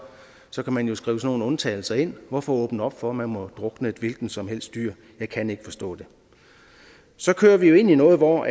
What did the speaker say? så kan man jo skrive sådan nogle undtagelser ind hvorfor åbne op for at man må drukne et hvilket som helst dyr jeg kan ikke forstå det så kører vi jo ind i noget hvor